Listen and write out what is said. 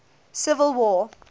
civil war